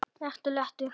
Vertu léttur.